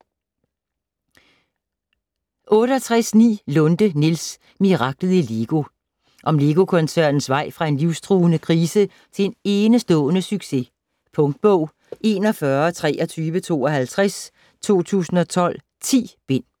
68.9 Lunde, Niels: Miraklet i LEGO Om Lego-koncernens vej fra en livstruende krise til enestående succes. Punktbog 412352 2012. 10 bind.